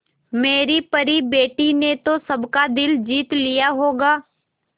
मेरी परी बेटी ने तो सबका दिल जीत लिया होगा